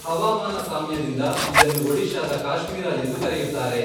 ಹವಾಮಾನ ಸಾಮ್ಯದಿಂದ ಇದನ್ನು ಒಡಿಶಾದ ಕಾಶ್ಮೀರ ಎಂದು ಕರೆಯುತ್ತಾರೆ.